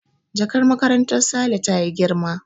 Jakar makarantar Saleh ta yi girma